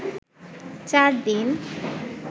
চার দিন